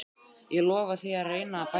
Ég lofa því að reyna að bæta mig.